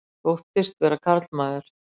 Þóttist vera karlmaður